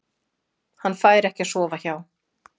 Hann fær ekki að sofa hjá.